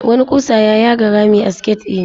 Wani ƙusa ya yaga rami a siket ɗina.